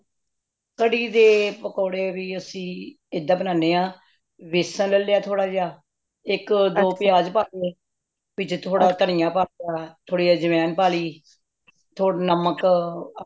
ਕੜੀ ਦੇ ਪਕੌੜੇ ਵੀ ਅੱਸੀ ਏਦ੍ਹਾ ਬਣਦਿਆਂ ਬੇਸਨ ਲੇਲੇਯਾ ਥੋੜਾ ਜਾ ਇਕ ਦੋ ਪਿਆਜ ਪਾਹ ਲੇ ਵਿੱਚ ਥੋੜਾ ਤਣੀਆਂ ਪਾ ਲਿਆ ਥੋੜੀ ਅਝਵੈੱਨ ਪਾਲੀ ਥੋੜਾ ਨਮਕ